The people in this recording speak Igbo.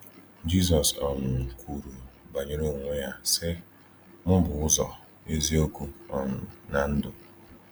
Jízọ́s um kwuru banyere onwe ya, sị: “Mụ bụ ụzọ, eziokwu um na ndụ.”